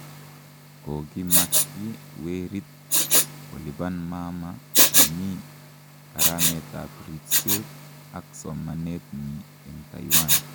Kokimakyi werit kolipan mama nenyi karametab ribset ak somanetnyi eng Taiwan